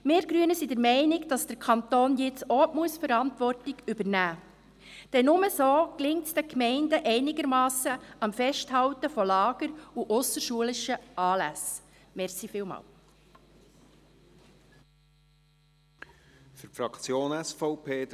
Wir Grüne sind der Meinung, dass der Kanton jetzt auch Verantwortung übernehmen muss, denn nur so gelingt es den Gemeinden einigermassen, an Lagern und ausserschulischen Anlässen festzuhalten.